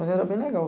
Mas era bem legal.